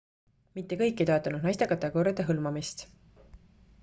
mitte kõik ei toetanud naiste kategooriate hõlmamist